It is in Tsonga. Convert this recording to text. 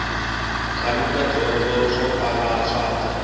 khaluta dyondzo swo tala swa ta